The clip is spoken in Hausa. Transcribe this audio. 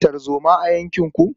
Ana tarzoma a yankinku?